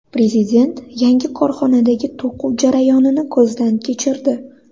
Prezident yangi korxonadagi to‘quv jarayonini ko‘zdan kechirdi.